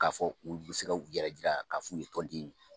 K'a fɔ u bɛ se k'u yɛrɛ jira ka f'u ye tɔnden ye.